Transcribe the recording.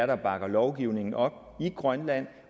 der bakker lovgivningen op i grønland